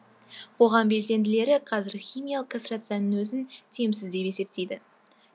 қоғам белсенділері қазір химиялық кастрацияның өзін тиімсіз деп есептейді